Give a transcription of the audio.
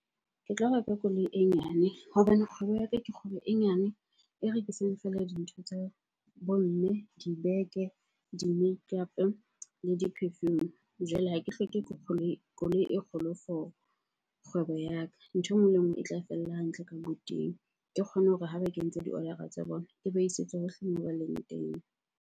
Ke tlo reka koloi e nyane hobane kgwebo ya ka, ke kgwebo e nyane e rekisang fela dintho tsa bo mme, dibeke, di-makeup-a le di-perfume. Jwale ha ke hloke koloi e kgolo for kgwebo ya ka. Ntho e nngwe le e nngwe e tla fella hantle ka . Ke kgone hore ha ba kentse di-order-a tsa bona, ke ba isetse hohle moo ba leng teng.